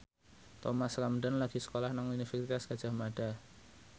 Thomas Ramdhan lagi sekolah nang Universitas Gadjah Mada